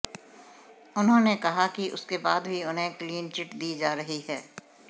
उन्होंने कहा कि उसके बाद भी उन्हें क्लीनचिट दी जा रही है